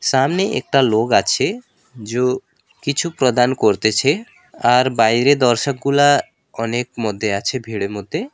সামনে একটা লোক আছে যো কিছু প্রদান করতেছে আর বাইরে দর্শকগুলা অনেক মধ্যে আছে ভীড়ের মধ্যে।